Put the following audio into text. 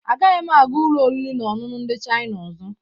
Agaghị m aga ụlọ oriri na ọṅụṅụ ndị Chaina ọzọ.